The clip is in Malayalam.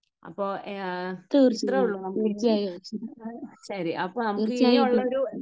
അപ്പോ ഇത്ര ഉള്ളു. നമുക്കിനി. ശരി അപ്പോൾ നമുക്ക് ഇനിയുള്ള ഒരു